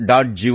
Gov